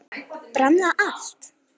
Brann það allt?